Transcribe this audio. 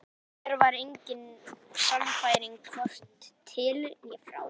Í mér var engin sannfæring, hvorki til né frá.